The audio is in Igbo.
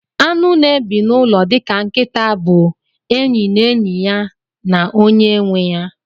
Anụ na ebi nụlọ dika nkita bu enyi na enyi ya na onye nweya.